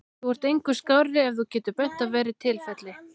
Þú ert engu skárri ef þú getur bent á verra tilfelli.